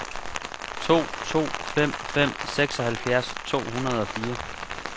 to to fem fem seksoghalvfjerds to hundrede og fire